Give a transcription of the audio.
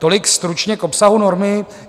Tolik stručně k obsahu normy.